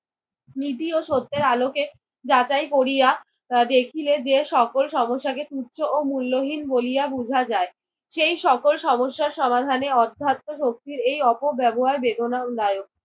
নীতি ও সত্যের আলোকে যাচাই করিয়া দেখিলে যে সকল সমস্যাকে তুচ্ছ ও মূল্যহীন বলিয়া বুঝা যায়। সেই সকল সমস্যা সমাধানের অধ্যাত্ম শক্তির এই অপব্যবহার বেদনাদায়ক।